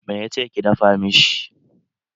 Me ya ce ki dafa mishi?